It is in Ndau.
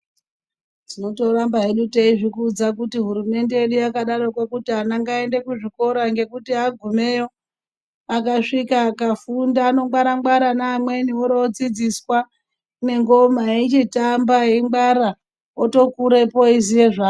Tinoramba teizviudza kuti hurumende yedu yakadaroko kuti vana vaende kuzvikora ngekuti agumeyo akasvika akafunda angwara ngwara anoona mwana odzidziswa nengoma eichitamba eingwarira otokurapo eiziva.